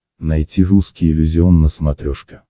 найти русский иллюзион на смотрешке